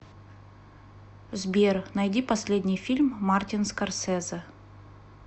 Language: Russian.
сбер найди последний фильм мартин скорсезе